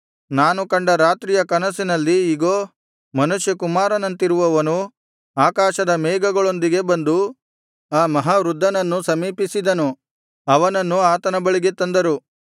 ನಾನು ಕಂಡ ರಾತ್ರಿಯ ಕನಸಿನಲ್ಲಿ ಇಗೋ ಮನುಷ್ಯ ಕುಮಾರನಂತಿರುವವನು ಆಕಾಶದ ಮೇಘಗಳೊಂದಿಗೆ ಬಂದು ಆ ಮಹಾವೃದ್ಧನನ್ನು ಸಮೀಪಿಸಿದನು ಅವನನ್ನು ಆತನ ಬಳಿಗೆ ತಂದರು